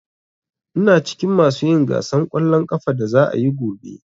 Ina cikin masu yin gasan ƙwallon ƙafan da za'a yi gobe.